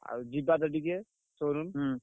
ଆଉ ଯିବା ତ ଟିକେ showroom